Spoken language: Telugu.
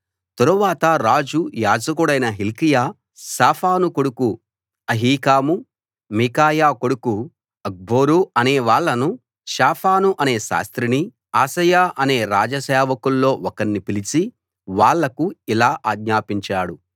తరువాత రాజు యాజకుడైన హిల్కీయా షాఫాను కొడుకు అహీకాము మీకాయా కొడుకు అక్బోరు అనే వాళ్ళనూ షాఫాను అనే శాస్త్రినీ అశాయా అనే రాజసేవకుల్లో ఒకణ్ణి పిలిచి వాళ్లకు ఇలా ఆజ్ఞాపించాడు